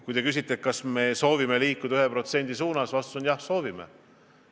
Kui te küsite, kas me soovime liikuda 1% suunas, siis vastus on: jah, soovime.